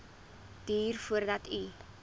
duur voordat u